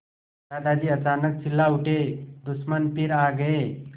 दादाजी अचानक चिल्ला उठे दुश्मन फिर आ गए